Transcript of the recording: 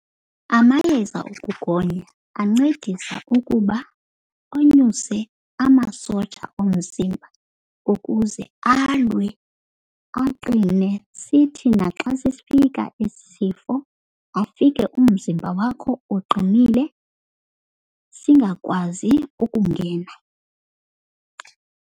Amayeza okugonya ancedisa ukuba anyuse amasoja omzimba ukuze alwe aqine, sithi naxa sifika esi sifo afike umzimba wakho uqinile singakwazi ukungena.